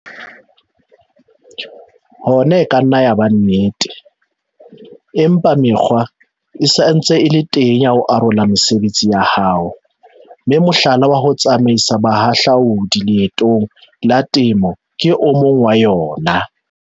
Hona e ka nna ya ba nnete, empa mekgwa e sa ntse e le teng ya ho arola mesebetsi ya hao, mme mohlala wa ho tsamaisa bahahlaodi leetong la temo ke o mong wa yona.